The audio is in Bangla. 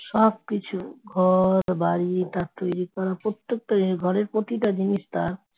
সবকিছু ঘরবাড়ি তা তৈরি করা প্রত্যেকটা জিনিস ঘরের প্রতিটা জিনিস তার